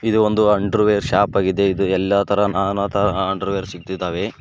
ಇದು ಒಂದು underwear shop ಆಗಿದೆ ಇದು ಎಲ್ಲಾ ತರಹ ನಾನಾ ತರಹ ಅಂಡರ್ವೇರ್ ಸಿಗ್ತಿದಾವೆ.